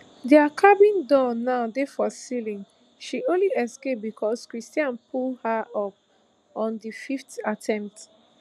dia cabin door now dey for ceiling she only escape becos cristhian pull her up on di fifth attempt